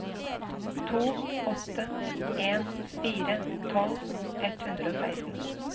to åtte en fire tolv ett hundre og seksten